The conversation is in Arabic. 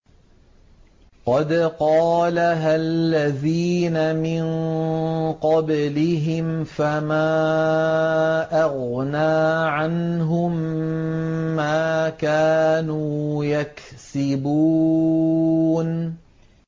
قَدْ قَالَهَا الَّذِينَ مِن قَبْلِهِمْ فَمَا أَغْنَىٰ عَنْهُم مَّا كَانُوا يَكْسِبُونَ